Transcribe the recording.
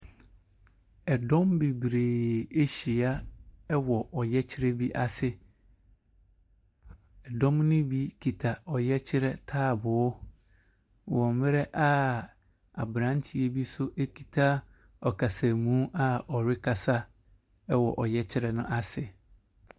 Ɛdɔm bebree ahyia wɔ ɔyɛkyerɛ bi ase. Ɛdɔm no bi kita ɔyɛkyerɛ taaboɔ, wɔ berɛ a aberanteɛ bi so kita akasamu a ɔrekasa wɔ ɔyɛkyerɛ no ase.